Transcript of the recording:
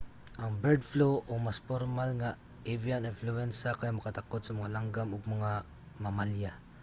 ang bird flu o mas pormal nga avian influenza kay makatakod sa mga langgam ug mga mamalya